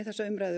umræðuna